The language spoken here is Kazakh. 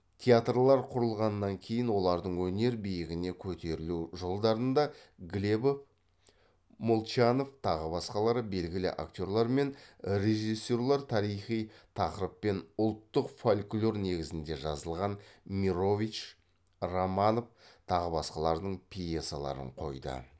театрлар құрылғаннан кейін олардың өнер биігіне көтерілу жолдарында глебов молчанов тағы басқалары белгілі актерлар мен режиссерлар тарихи тақырып пен ұлттық фольклор негізінде жазылған мирович романов тағы басқалардың пьесаларын қойды